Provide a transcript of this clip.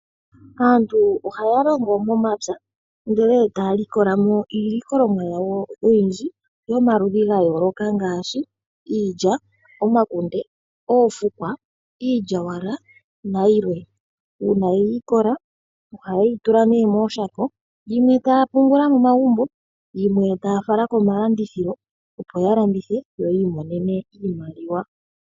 Aantu ohaya longo momapya ndele taya likola mo iilikolomwa yawo oyindji yomaludhi gayooloka ngaashi, iilya, omakunde, oofukwa, iilyawala nayilwe, uuna yeyi likola ohaye yi tula nee mooshoka yimwe taya pungula momagumbo yimwe taya fala komalandithilo opo ya landithe yo yi imonene iimaliwa.